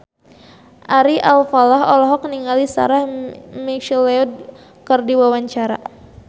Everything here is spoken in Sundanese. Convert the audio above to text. Ari Alfalah olohok ningali Sarah McLeod keur diwawancara